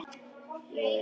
Jú, því ekki það?